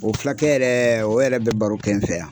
O fulakɛ yɛrɛ o yɛrɛ bɛ baro kɛ n fɛ yan.